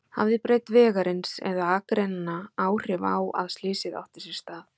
Hafði breidd vegarins eða akreinanna áhrif á að slysið átti sér stað?